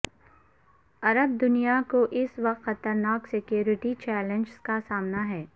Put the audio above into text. عرب دنیا کو اس وقت خطرناک سیکیورٹی چیلنجز کا سامنا ہے